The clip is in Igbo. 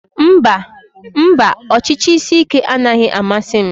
Mba, ọchịchị isi ike anaghị amasị m